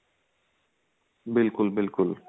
ਬਿਲਕੁਲ ਬਿਲਕੁਲ